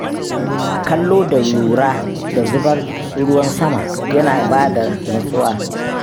Kallo da lura da zubar ruwan sama yana ba da nutsuwa.